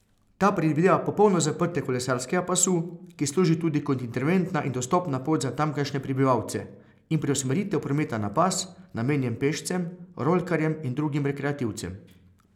Ta predvideva popolno zaprtje kolesarskega pasu, ki služi tudi kot interventna in dostopna pot za tamkajšnje prebivalce, in preusmeritev prometa na pas, namenjen pešcem, rolkarjem in drugim rekreativcem.